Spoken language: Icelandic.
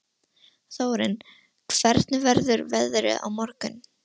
Þórinn, hvernig verður veðrið á morgun?